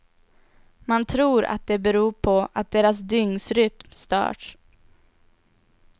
Man tror att det beror på att deras dygnsrytm störts.